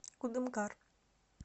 кудымкар